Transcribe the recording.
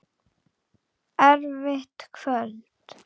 Erfitt kvöld.